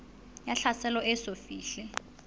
ya tlhaselo e eso fihle